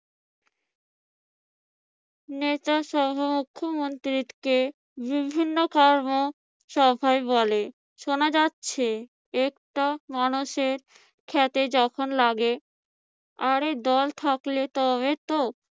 নেতাসহ মুখ্যমন্ত্রীকে বিভিন্ন কর্মসভায় বলে শোনা যাচ্ছে একটা মানুষের খেতে যখন লাগে আরে দল থাকলে তবে তো